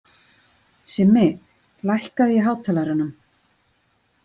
Simmi, lækkaðu í hátalaranum.